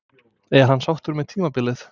Er hann sáttur með tímabilið?